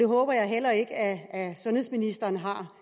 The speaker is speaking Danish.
håber jeg heller ikke at sundhedsministeren har